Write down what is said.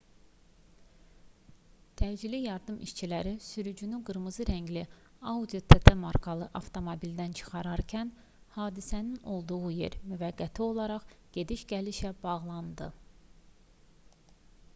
təcili yardım işçiləri sürücünü qırmızı rəngli audi tt markalı avtomobildən çıxararkən hadisənin olduğu yer müvəqqəti olaraq gediş-gəlişə bağlandı